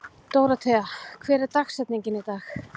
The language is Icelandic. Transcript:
Dórothea, hver er dagsetningin í dag?